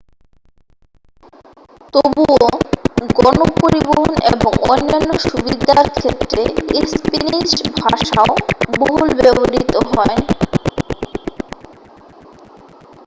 তবুও গণ পরিবহন এবং অন্যান্য সুবিধার ক্ষেত্রে স্পেনিশ ভাষাও বহুল ব্যবহৃত হয়